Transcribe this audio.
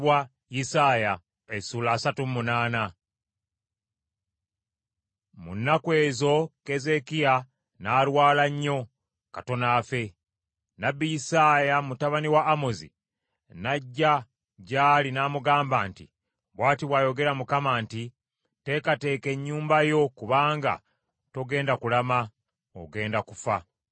Mu nnaku ezo Keezeekiya n’alwala nnyo, katono afe. Nnabbi Isaaya mutabani wa Amozi n’ajja gy’ali n’amugamba nti, “Bw’ati bw’ayogera Mukama nti, Teekateeka ennyumba yo, kubanga togenda kulama, ogenda kufa.”